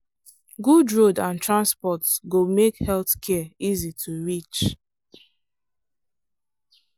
good road and transport go make health care easy to reach.